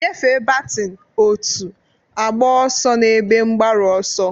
Nyefee batin, otu, agba ọsọ n'ebe mgbaru ọsọ.